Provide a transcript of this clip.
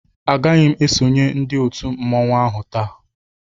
A gaghị ésonyé ndị òtù mmanwu áhù taa